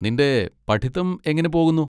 നിന്റെ പഠിത്തം എങ്ങനെ പോകുന്നു?